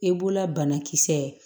I b'ola banakisɛ